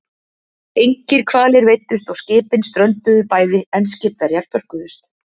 Engir hvalir veiddust og skipin strönduðu bæði, en skipverjar björguðust.